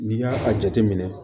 N'i y'a a jateminɛ